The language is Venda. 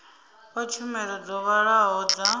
fha tshumelo dzo vhalaho dza